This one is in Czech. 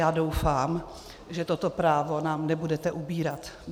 Já doufám, že toto právo nám nebudete upírat.